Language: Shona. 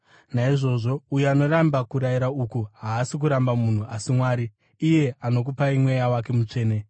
Naizvozvo, uyo anoramba kurayira uku haasi kuramba munhu asi Mwari, iye anokupai Mweya wake Mutsvene.